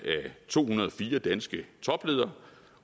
to hundrede og fire danske topledere